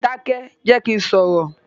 Dákẹ́jẹ̀, jẹ́ kí n sọ̀rọ̀!